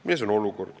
Milles on probleem?